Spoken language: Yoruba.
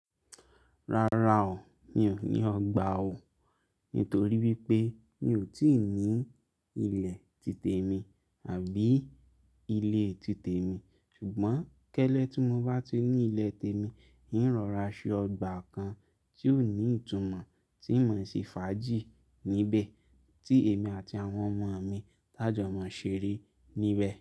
Rárá o, mi ò mí ọgbà o nítorí wípé mi ò tíì ní ilẹ̀ títè mi àbí ilé títè mi. Ṣùgbọ́n kẹ́lẹ́ tí mo bá ti ní ilẹ̀ tè mi, ń rọ̀ra ṣe ọgbà kan tí yóò ní ìtumọ̀ tí mọ̀ ń ṣe fàájì níbẹ̀ tí èmi àti àwọn ọmọ mi tájọ̀ọ́mọ̀ ń ṣeré níbẹ̀